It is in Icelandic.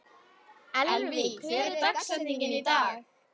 Elvý, hver er dagsetningin í dag?